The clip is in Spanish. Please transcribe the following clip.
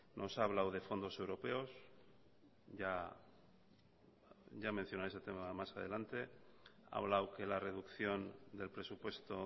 nos ha hablado de fondos europeos ya mencionaré ese tema más adelante ha hablado que la reducción del presupuesto